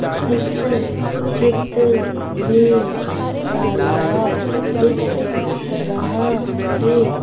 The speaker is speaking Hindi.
इस चित्र में तालाब दिख रहा है।